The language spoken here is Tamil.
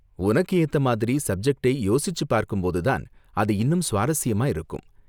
உனக்கு ஏத்த மாதிரி சப்ஜெக்டை யோசிச்சு பார்க்கும்போது தான் அது இன்னும் சுவாரஸ்யமா இருக்கும்.